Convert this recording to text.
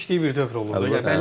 Sənin yetişdiyi bir dövr olur da.